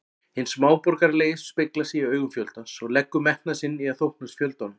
Hinn smáborgaralegi speglar sig í augum fjöldans og leggur metnað sinn í að þóknast fjöldanum.